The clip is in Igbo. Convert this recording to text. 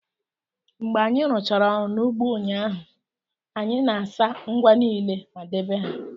Mgbe anyị rụchara ọrụ n'ugbo ụnyaahụ, anyị na-asa ngwa niile ma debe ha